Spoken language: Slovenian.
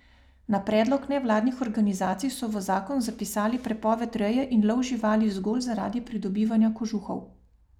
Na predlog nevladnih organizacij so v zakon zapisali prepoved reje in lov živali zgolj zaradi pridobivanja kožuhov.